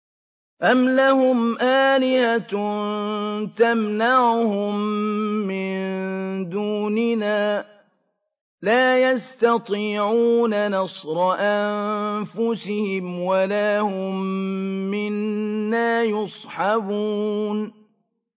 أَمْ لَهُمْ آلِهَةٌ تَمْنَعُهُم مِّن دُونِنَا ۚ لَا يَسْتَطِيعُونَ نَصْرَ أَنفُسِهِمْ وَلَا هُم مِّنَّا يُصْحَبُونَ